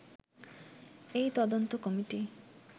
এই তদন্ত কমিটি